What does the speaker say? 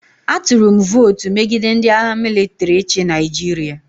Atụrụ m votu megide ndị agha mịlịtrị ịchị Nigeria.